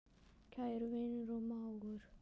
Kæri vinur og mágur.